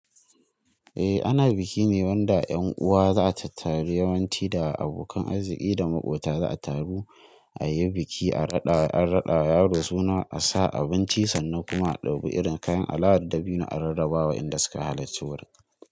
Eh ana biki ne wanda 'yan uwa za su taru yawanci da abokan arziki da maƙota za su taru a yi biki, a raɗa an raɗa yaro suna, a sa abinci sannu kuma a ɗau irin kayan al'adar da binne a rarrabawa inda suka halarci warka.